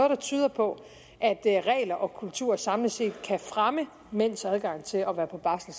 der tyder på at regler og kultur samlet set kan fremme mænds adgang til at være på barsel